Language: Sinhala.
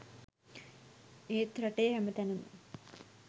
ඒත් රටේ හැමතැනම